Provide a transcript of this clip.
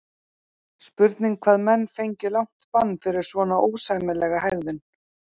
Spurning hvað menn fengju langt bann fyrir svona ósæmilega hegðun?